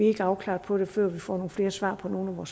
ikke afklarede før vi får flere svar på nogle